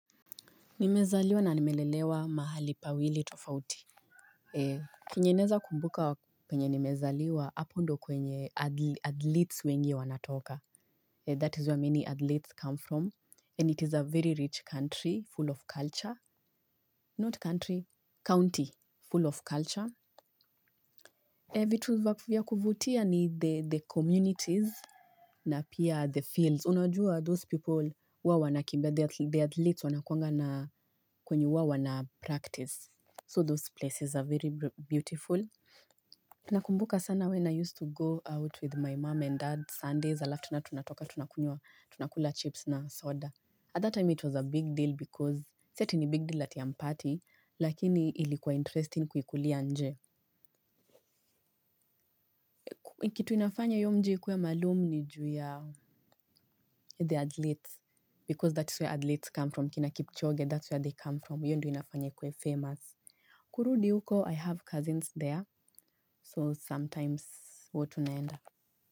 Nimezaliwa na nimelelewa mahali pawili tofauti chenye naweza kumbuka kwenye nimezaliwa hapo ndo kwenye athletes wengi wanatoka. That is where many athletes come from. And it is a very rich country full of culture. Not country, county full of culture. Vitu vya kuvutia in the community na pia the fields. Unajua those people huwa wanakimbia, the athletes wanakuanga na kwenye huwa wana practice. So those places are very beautiful nakumbuka sana when I used to go out with my mom and dad Sundays alafu tena tunatoka tunakunywa tunakula chips na soda at that time it was a big deal because si ati ni big deal ati hampati. Lakini ilikuwa interesting kuikulia nje. Kitu inafanya hiyo mji ikuwe maalum ni ju ya the athletes because that's where athletes come from. Kina kipchoge that's where they come from hiyo ndio inafanya ikuwe famous. Kurudi huko I have cousins there so sometimes huwa tunaenda.